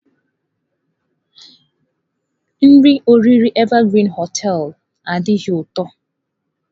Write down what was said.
Nri oriri Evergreen hoteelu adighị ụtọ.